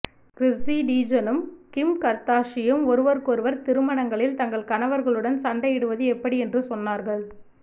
Chrissy டீஜனும் Kim கர்தாஷியும் ஒருவருக்கொருவர் திருமணங்களில் தங்கள் கணவர்களுடன் சண்டையிடுவது எப்படி என்று சொன்னார்கள்